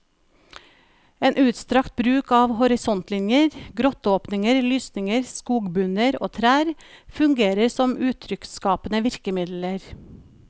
En utstrakt bruk av horisontlinjer, grotteåpninger, lysninger, skogbunner og trær, fungerer som uttrykksskapende virkemidler.